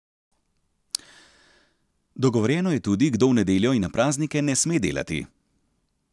Dogovorjeno je tudi, kdo v nedeljo in na praznike ne sme delati.